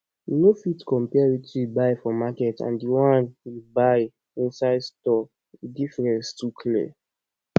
you no fit compare wetin you buy for market and the one you buy inside store the difference too clear